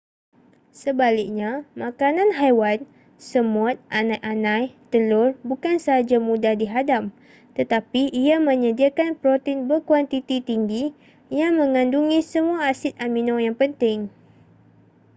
sebaliknya makanan haiwan semut anai-anai telur bukan sahaja mudah dihadam tetapi ia menyediakan protein berkuantiti tinggi yang mengandungi semua asid amino yang penting